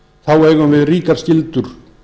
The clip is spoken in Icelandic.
þá eigum við ríkar skyldur